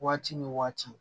Waati ni waati